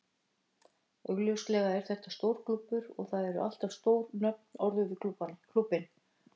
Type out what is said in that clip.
Augljóslega er þetta stór klúbbur og það eru alltaf stór nöfn orðuð við klúbbinn.